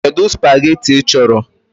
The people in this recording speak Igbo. Kedu spageetí ị chọrọ?